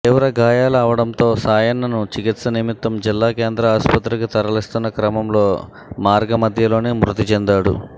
తీవ్ర గాయాలు అవడంతో సాయన్నను చికిత్స నిమిత్తం జిల్లా కేంద్ర ఆస్పత్రికి తరలిస్తున్న క్రమంలో మార్గ మధ్యలోనే మృతి చెందాడు